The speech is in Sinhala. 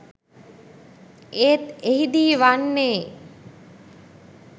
ඒත් එහිදී වන්නේ